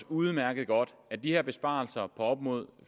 udmærket godt at de her besparelser på op mod